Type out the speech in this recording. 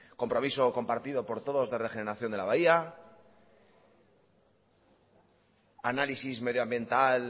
compromiso compartido por todos de regeneración de la bahía análisis medioambiental